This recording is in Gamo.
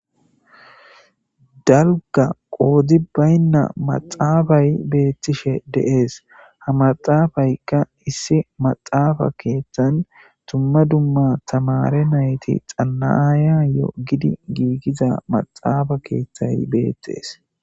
daluga qoodzi baynna maxaafay beettishe deees ha maxaafaykka issi maxaafa keeththan tumma dumma tamare nayti xanaya yo gidi giigiza maxaafa keeththay beettees